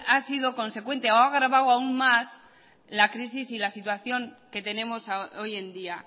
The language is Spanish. ha sido consecuente o ha agravado aún más la crisis y la situación que tenemos hoy en día